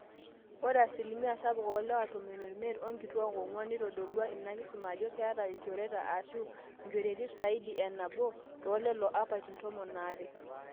ore asilimia sapuk oolewa 15% onkituak 4% neitodolua ina kisuma ajo keeta ilchorueti aashu inchorueti zaidi e nabo toolelo apaitin tomon aare